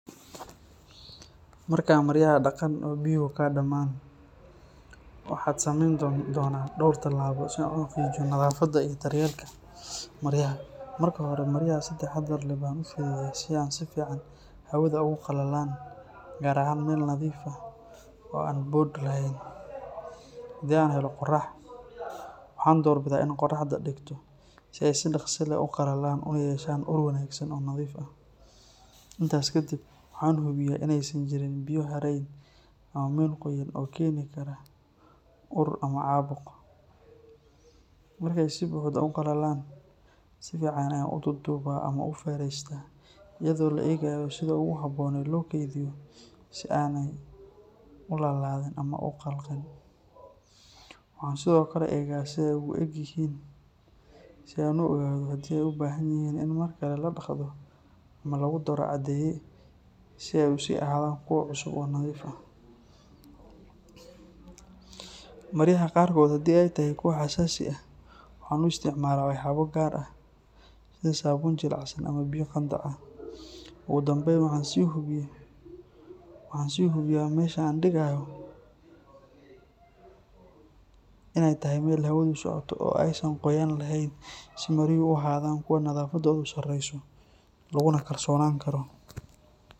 Marka maryaha daqaan oo biyuhu ka dhammaan, waxaan samayn doonaa dhowr tallaabo si aan u xaqiijiyo nadaafadda iyo daryeelka maryaha. Marka hore, maryaha si taxaddar leh baan u fidiyaa si aan si fiican hawada ugu qalalaan, gaar ahaan meel nadiif ah oo aan boodh lahayn. Haddii aan helo qorrax, waxaan doorbidaa inaan qorraxda dhigto si ay si dhakhso leh u qalalaan una yeeshaan ur wanaagsan oo nadiif ah. Intaas kadib, waxaan hubiyaa inaysan jirin biyo haray ama meel qoyan oo keeni kara ur ama caabuq. Markay si buuxda u qalalaan, si fiican ayaan u duuduubaa ama u feeraystaa iyadoo la eegayo sida ugu habboon ee loo keydiyo si aanay u laalaadin ama u qalqin. Waxaan sidoo kale eega sida ay u eg yihiin si aan u ogaado haddii ay u baahan yihiin in mar kale la dhaqdo ama lagu daro caddeeye si ay u sii ahaadaan kuwo cusub oo nadiif ah. Maryaha qaarkood haddii ay tahay kuwa xasaasi ah, waxaan u isticmaalaa waxyaabo gaar ah sida saabuun jilicsan ama biyo qandac ah. Ugu dambeyn, waxaan sii hubiyaa meesha aan dhigayo inay tahay meel hawadu socoto oo aysan qoyaan lahayn si maryuhu u ahaadaan kuwo nadaafadoodu sarreyso laguna kalsoonaan karo.